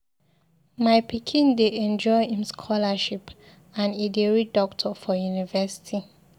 My pikin dey enjoy im scholarship and e dey read doctor for university.